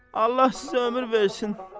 Allah sizə ömür versin.